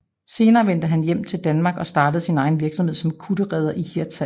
Senere vendte han hjem til Danmark og startede han sin egen virksomhed som kutterredder i Hirtshals